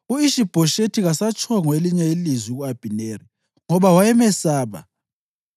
U-Ishi-Bhoshethi kasatshongo elinye ilizwi ku-Abhineri, ngoba wayemesaba.